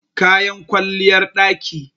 kayan kwalliyar ɗaki